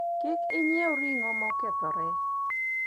kik inyiew ring'o mokethore